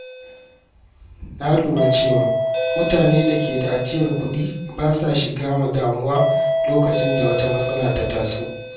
Na lura cewa mutane da ke da ajiyar kuɗi ba sa shiga damuwa lokacin da wata matsala ta taso.